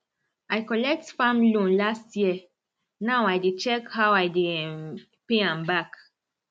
i collect farm loan last year now i dey check how i dey um pay am back